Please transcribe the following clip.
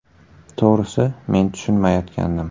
To‘g‘risi, men tushunmayotgandim.